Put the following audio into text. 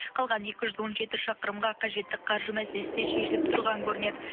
қалған екі жүз он жеті шақырымға қажетті қаржы мәселесі де шешіліп тұрған көрінеді